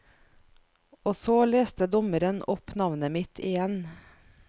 Og så leste dommeren opp navnet mitt igjen.